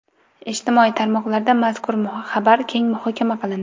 Ijtimoiy tarmoqlarda mazkur xabar keng muhokama qilindi.